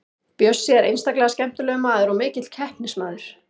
Bjössi er einstaklega skemmtilegur maður og mikill keppnismaður.